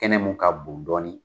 Kɛnɛ mun ka bon dɔɔnin